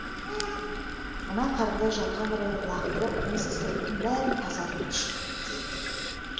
мына қарды жарға қарай лақтырып осы сырттың бәрін тазартып шық деді